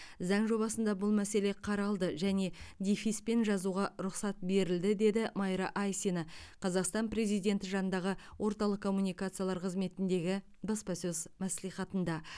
заң жобасында бұл мәселе қаралды және дефиспен жазуға рұқсат берілді деді майра айсина қазақстан президенті жанындағы орталық коммуникациялар қызметіндегі баспасөз мәслихатында